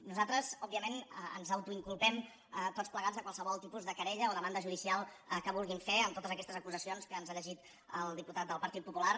nosaltres òbviament ens autoinculpem tots plegats de qualsevol tipus de querella o demanda judicial que vulguin fer amb totes aquestes acusacions que ens ha llegit el diputat del partit popular